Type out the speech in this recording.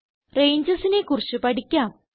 Rangesനെ കുറിച്ച് പഠിക്കാം